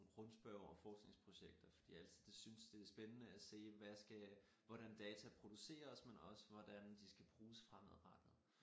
Rundspørger og forskningsprojekter fordi jeg altid det synes det er spændende at se hvad skal hvordan data produceres men også hvordan de skal bruges fremadrettet